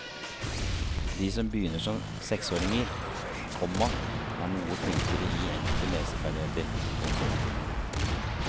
De som begynner som seksåringer, komma er noe flinkere i enkelte leseferdigheter. punktum